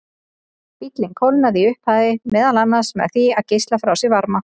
Bíllinn kólnaði í upphafi meðal annars með því að geisla frá sér varma.